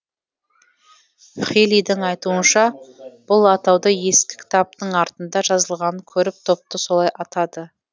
хилидің айтуынша бұл атауды ескі кітаптың артында жазылғанын көріп топты солай атады